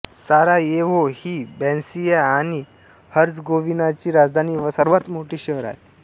Sarajevo ही Bosnia आणि हर्झगोव्हिनाची राजधानी व सर्वात मोठे शहर आहे